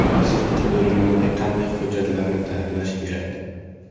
Sirtqi bo‘limlarga qanday hujjatlarni tayyorlash kerak?